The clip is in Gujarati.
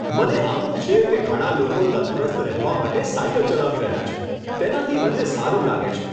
મને આનંદ છે કે ઘણા લોકો તંદુરસ્ત રહેવા માટે સાઈકલ ચલાવી રહ્યા છે. તેનાથી મને સારું લાગે છે.